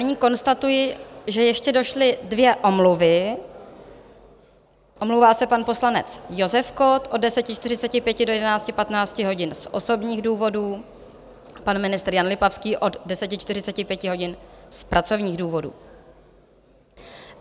Nyní konstatuji, že ještě došly dvě omluvy: omlouvá se pan poslanec Josef Kott od 10.45 do 11.15 hodin z osobních důvodů, pan ministr Jan Lipavský od 10.45 hodin z pracovních důvodů.